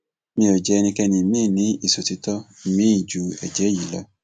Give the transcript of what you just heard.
mi ò jẹ ẹnikẹni miín ní ìṣòtítọ miín ju èjé èyí lọ